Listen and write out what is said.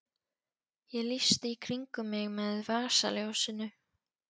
Ég lýsti í kringum mig með vasaljósinu.